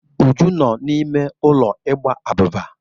Uju nọ n'ime ulo ịgba abuba.